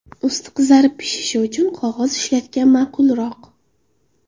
Usti qizarib pishishi uchun qog‘oz ishlatgan ma’qulroq.